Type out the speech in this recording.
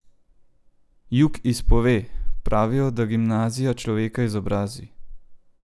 Jug izpove: "Pravijo, da gimnazija človeka izobrazi.